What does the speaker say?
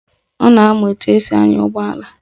Ọ na-amụ etu esi anya ụgbọala